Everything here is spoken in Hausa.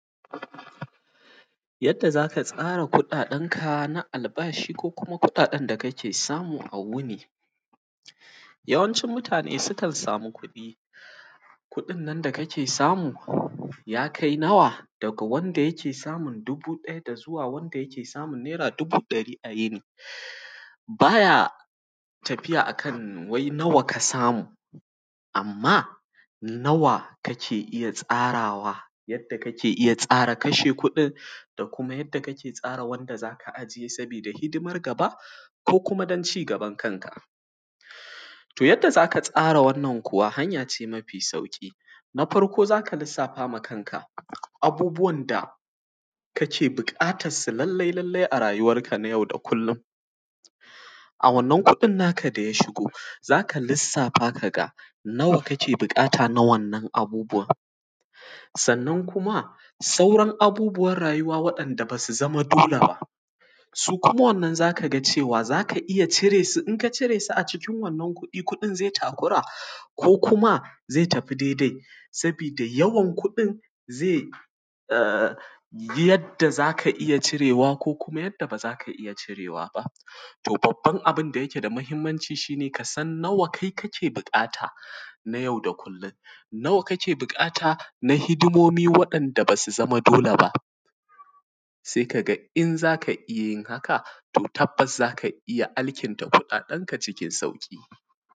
Yadda za ka tsara kuɗaɗenka na albashi ko kuma kuɗaɗen da kake samu a wuni. Yawancin mutane sukan samu kuɗi, kuɗin nan da kake samu, ya kai nawa? Daga wanda yake samun dubu ɗaya da zuwa wanda yake samun naira dubu ɗari a wuni. Ba ya tafiya a kan wai nawa ka samu, amma nawa kake iya tsarawa, yadda kake iya tsaka kashe kuɗin da kuma yadda kake tsara wanda za ka ajiye saboda hidimar gaba, ko kuma dan cigaban kanka. To, yadda za ka tsara wannan kuwa, hanya ce mafi sauƙi, na farko za ka lissafa ma kanka abubuwan da kake buƙatas su lallai-lallai a rayuwanka na yau da kullun. A wannan kuɗin naka da ya shigo, za ka lissafa ka ga nawa kake buƙata na wannan abubuwan, sannan kuma, sauran abubuwar rayuwa waɗanda ba su zama dole ba, su kuma wannan za ka ga cewa, za ka iya cire su, in ka cire su a cikin wannan kuɗi, kuɗin ze takura, ko kuma ze tafi dedai, sabida yawan kuɗin ze a; yadda za ka iya cirewa ko kuma yadda ba za ka iya cirewa ba. To, babban abin da yake da mahimmanci shi ne, ka san nawa kai kake biƙata na yau da kullin, nawa kake biƙata na hidimomi waɗanda ba su zama dole ba, see ka ga in za ka iya yin haka, to tabbas za ka iya alkinta kuɗaɗenka cikin sauƙi.